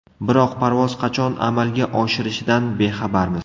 Biroq parvoz qachon amalga oshirishidan bexabarmiz.